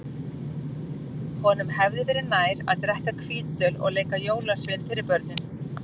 Honum hefði verið nær að drekka hvítöl og leika jólasvein fyrir börnin.